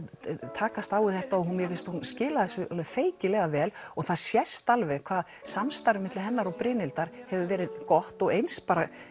takast á við þetta og mér finnst hún skila þessu alveg feykilega vel og það sést alveg hvað samstarfið milli hennar og Brynhildar hefur verið gott og eins